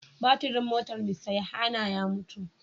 Batirin motar Mr Yohanna ya mutu.